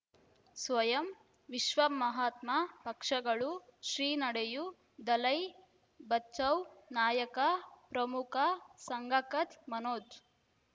ಸ್ವಯಂ ವಿಶ್ವ ಮಹಾತ್ಮ ಪಕ್ಷಗಳು ಶ್ರೀ ನಡೆಯೂ ದಲೈ ಬಚೌ ನಾಯಕ ಪ್ರಮುಖ ಸಂಘ ಕಚ್ ಮನೋಜ್